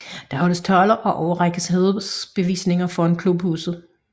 Der holdes taler og overrækkes hædersbevisninger foran klubhuset